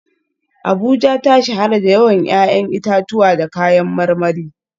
Abuja ta shahara da yawan 'ya'yan itatuwa da kayan marmari